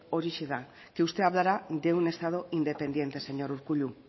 horixe da que usted hablara de un estado independiente señor urkullu